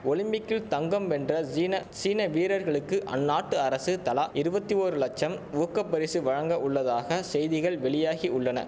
ஒலிம்பிக்கில் தங்கம் வென்ற ஜீன சீன வீரர்களுக்கு அந்நாட்டு அரசு தலா இருவத்தி ஓரு லட்சம் ஊக்க பரிசு வழங்க உள்ளதாக செய்திகள் வெளியாகி உள்ளன